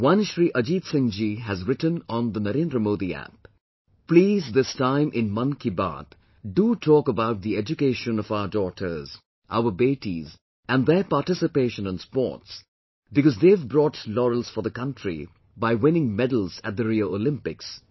One Shri Ajit Singh ji has written on NarendraModiApp "Please, this time in 'Mann Ki Baat' do talk about the education of our daughters, our 'Betis' and their participation in sports because they have brought laurels for the country by winning medals at the Rio Olympics